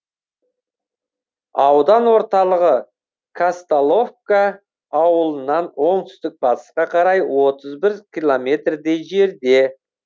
аудан орталығы казталовка ауылынан оңтүстік батысқа қарай отыз бір километрдей жерде